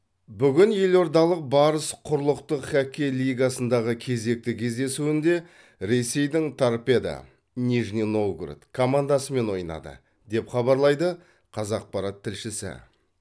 бүгін елордалық барыс құрлықтық хоккей лигасындағы кезекті кездесуінде ресейдің торпедо нижний новгород командасымен ойнады деп хабарлайды қазақпарат тілшісі